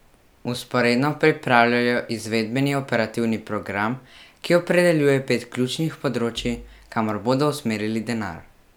Vzporedno pripravljajo izvedbeni operativni program, ki opredeljuje pet ključnih področjih, kamor bodo usmerjali denar.